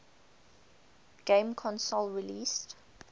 game console released